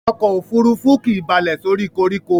Ọkò òfurufú kìí balẹ̀ sórí koríko.